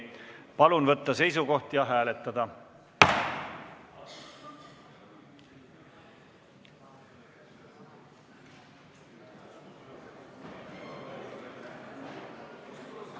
Palun võtta seisukoht ja hääletada!